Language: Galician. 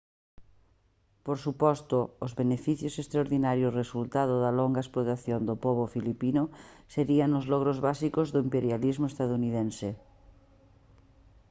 por suposto os beneficios extraordinarios resultado da longa explotación do pobo filipino serían os logros básicos do imperialismo estadounidense